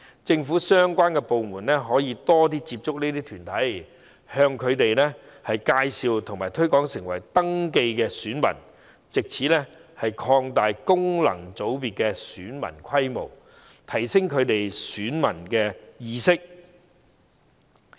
政府的相關部門可以更多接觸這些團體，介紹和推廣登記成為選民，藉此擴大功能界別的選民規模及提升他們的選民意識。